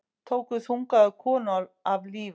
Tóku þungaða konu af lífi